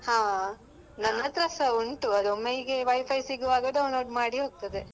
ಹಾ ನನ್ನತ್ರಸಾ ಉಂಟು ಅದು ಹೀಗೆ ಒಮ್ಮೆ Wi-Fi ಸಿಗುವಾಗ download ಮಾಡಿ ಹೋಗ್ತದೆ.